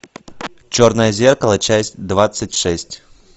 черное зеркало часть двадцать шесть